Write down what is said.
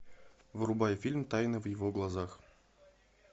врубай фильм тайна в его глазах